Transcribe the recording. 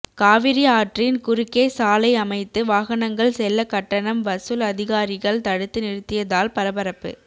காவிரி ஆற்றின் குறுக்கே சாலை அமைத்து வாகனங்கள் செல்ல கட்டணம் வசூல் அதிகாரிகள் தடுத்து நிறுத்தியதால் பரபரப்பு